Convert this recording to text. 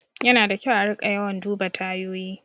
Yana da kyau a riƙa yawan duba tayoyi.